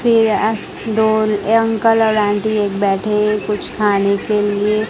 पे आस दो अंकल और आंटी एक बैठे कुछ खाने के लिए--